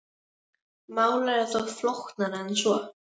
Málið er þó flóknara en svo.